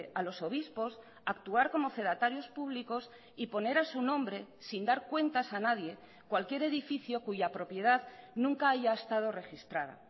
a los obispos actuar como fedatarios públicos y poner a su nombre sin dar cuentas a nadie cualquier edificio cuya propiedad nunca haya estado registrada